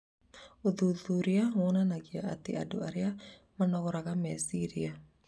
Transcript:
Ũthuthuria wonanagia atĩ andũ arĩa manogoraraga meciria